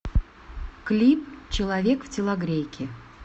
клип человек в телогрейке